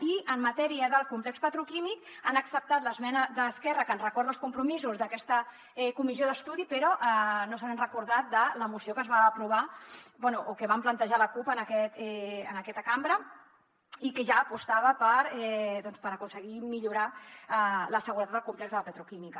i en matèria del complex petroquímic han acceptat l’esmena d’esquerra que ens recorda els compromisos d’aquesta comissió d’estudi però no s’han recordat de la moció que es va aprovar bé o que vam plantejar la cup en aquesta cambra i que ja apostava doncs per aconseguir millorar la seguretat del complex de la petroquímica